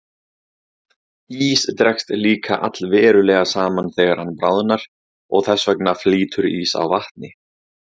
Ís dregst líka allverulega saman þegar hann bráðnar og þess vegna flýtur ís á vatni.